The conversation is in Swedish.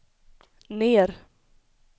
ner